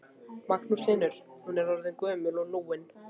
Magnús Hlynur: Hún er orðin gömul og lúin?